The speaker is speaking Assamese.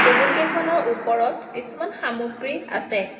টেবুল কেইখনৰ ওপৰত কিছুমান সামগ্ৰী আছে।